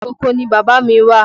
Oko ni bàbá mí wà.